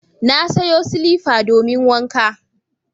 Na sayo silifa domin wanka.